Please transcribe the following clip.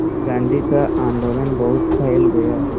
गांधी का आंदोलन बहुत फैल गया